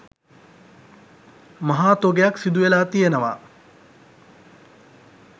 මහා තොගයක් සිදු වෙලා තියෙනවා.